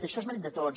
això és mèrit de tots